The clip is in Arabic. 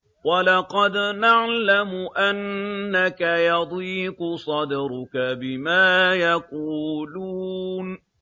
وَلَقَدْ نَعْلَمُ أَنَّكَ يَضِيقُ صَدْرُكَ بِمَا يَقُولُونَ